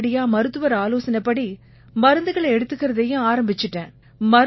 உடனடியா மருத்துவர் ஆலோசனைப்படி மருந்துகளை எடுத்துக்கறதையும் ஆரம்பிச்சிட்டேன்